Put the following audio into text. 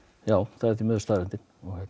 já það er því miður staðreyndin